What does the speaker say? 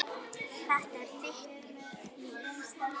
Þetta er þitt líf